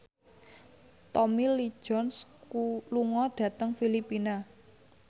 Tommy Lee Jones lunga dhateng Filipina